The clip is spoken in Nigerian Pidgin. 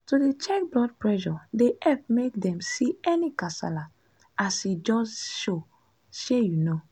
to dey check blood pressure dey epp make dem see any kasala as e just show shey u know?